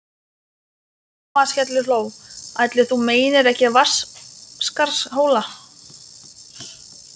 Amma skellihló: Ætli þú meinir ekki Vatnsskarðshóla?